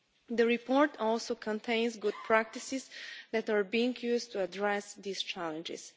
The report also contains good practices that are being used to address these challenges.